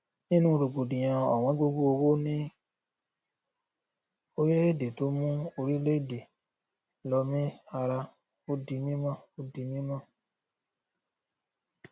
nínú rògbòdìyàn ọwọn gogo owó ní orílẹèdè tó mú orílẹèdè lọmí ara ó di mímọ ó di mímọ